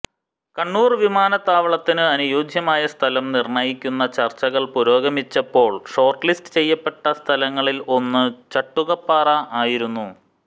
കണ്ണൂർ വിമാനത്താവളത്തിനു അനുയോജ്യമായ സ്ഥലം നിർണയിക്കുന്ന ചർച്ചകൾ പുരോഗമിച്ചപ്പോൾ ഷോർട്ട് ലിസ്റ്റ് ചെയ്യപ്പെട്ട സ്ഥലങ്ങളിൽ ഒന്ന് ചട്ടുകപ്പാറ ആയിരുന്നു